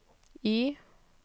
Y